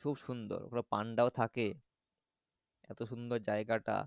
খুব সুন্দর এবং পান্ডাও থাকে এত সুন্দর যাইগা টা।